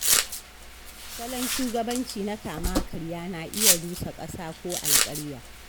Salon shugabanci na kama karya na iya rusa ƙasa ko alƙarya